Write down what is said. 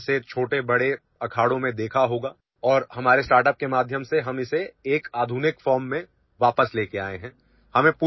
آپ نے اسے بڑے اور چھوٹے اکھاڑوں میں ضرور دیکھا ہوگا اور ہم نے اپنے اسٹارٹ اپ کے ذریعے اسے ایک جدید شکل میں واپس لانے کی کوشش کی ہے